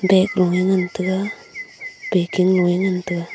bag loe ngan taiga paking loe ngan taiga.